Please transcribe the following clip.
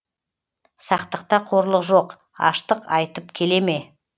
сақтықта қорлық жоқ аштық айтып келе ме